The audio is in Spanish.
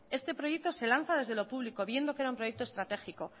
este proyecto se lanza desde lo público viendo que era un proyecto estratégico